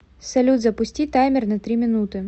салют запусти таймер на три минуты